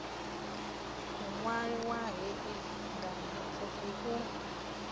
muṅwali wa hei nganeapfufhi u